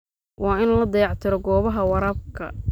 Waa in la dayactiro goobaha waraabka.